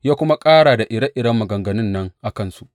Ya kuma ƙara ire iren maganganun nan a kansu.